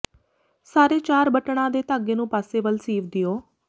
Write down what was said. ਸਾਰੇ ਚਾਰ ਬਟਣਾਂ ਦੇ ਧਾਗੇ ਨੂੰ ਪਾਸੇ ਵੱਲ ਸੀਵ ਦਿਓ